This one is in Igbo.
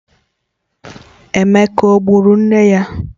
Emeka o gburu nne ya?